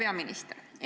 Hea peaminister!